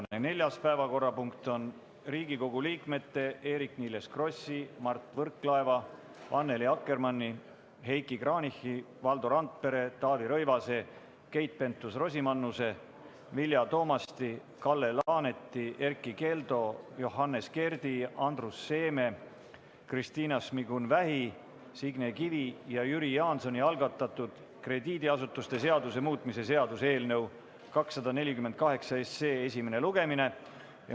Tänane neljas päevakorrapunkt on Riigikogu liikmete Eerik-Niiles Krossi, Mart Võrklaeva, Annely Akkermanni, Heiki Kranichi, Valdo Randpere, Taavi Rõivase, Keit Pentus-Rosimannuse, Vilja Toomasti, Kalle Laaneti, Erkki Keldo, Johannes Kerdi, Andrus Seeme, Kristina Šmigun-Vähi, Signe Kivi ja Jüri Jaansoni algatatud krediidiasutuste seaduse muutmise seaduse eelnõu 248 esimene lugemine.